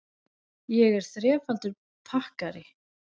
Ég er þrefaldur pakkari.